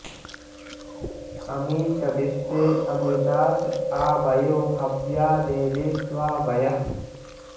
अ॒मी च॒ विश्वे॑ अ॒मृता॑स॒ आ वयो॑ ह॒व्या दे॒वेष्वा वयः॑